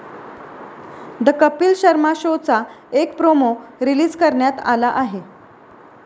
The Kapil Sharma शोचा एक promo release करण्यात आला आहे.